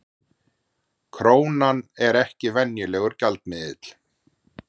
Krónan er ekki venjulegur gjaldmiðill